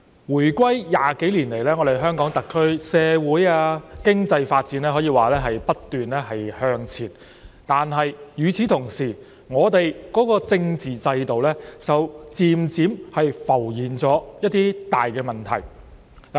回歸20多年來，香港特區社會和經濟發展可以說是不斷向前，但與此同時，我們的政治制度卻漸漸浮現一些大問題。